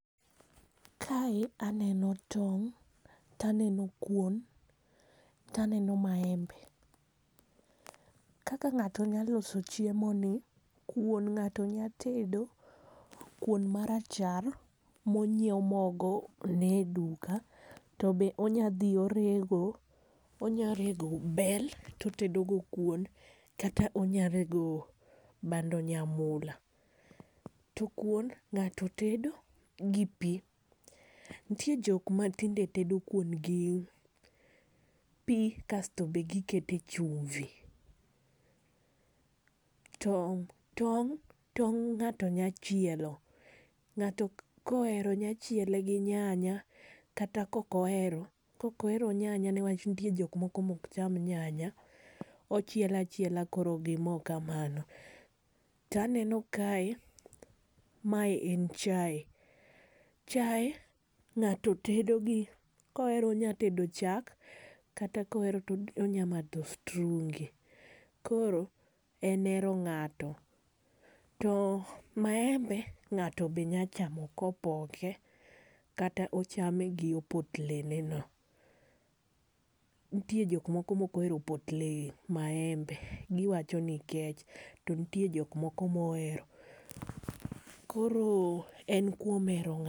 Kae aneno tong' to aneno kuon to aneno maembe. Kaka ng'ato nya loso chiemo ni, kuon ng'ato nya tedo kuon ma rachar ma onyiew mogo ne duka. To be onya dhi orego, onya rego bel to otedo go kuon kata onya rego bando nyamula . To kuon nyaka ted gi pi, nitie jok ma tinde tedo kuon gi pi kasto be gi kete chumvi. Tong',tong' ng'ato nya chielo ng'ato ka ohero nyachiele gi nyanya kata kok ohero kok ohero nyanya ne wach nitiere jok moko ma ok cham nyanya. Ochiele achiela koro gi moo ka mano to aneno kae ma en chai. Chai ng'ato tedo gi ko ohero onya tedo chak kata ka ohero to onya madho strungi. Koro en hero ng'ato. To maembe ng'ato be nya chamo ko opoke kata ochame gi opotle ne no. Nitie jok moko ma ok ohero opotle maembe gi wacho ni kech to nitie jok moko ma ohero. Koro en kuom hero.